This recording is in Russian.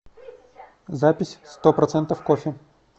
запись стопроцентов кофе